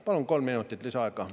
Palun kolm minutit lisaaega.